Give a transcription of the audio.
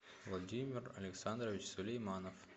владимир александрович сулейманов